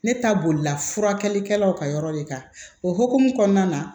Ne ta bolila furakɛlikɛlaw ka yɔrɔ de kan o hukumu kɔnɔna na